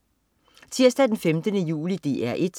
Tirsdag den 15. juli - DR 1: